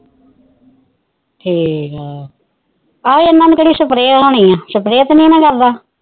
ਠੀਕੇ ਆਹੋ ਇਹਨਾ ਨੂੰ ਕਿਹੜਾ ਸਪਰੇਹ ਹੋਣੀ ਸਪਰੈਹ ਤਾਨੀ ਕਰਦਾ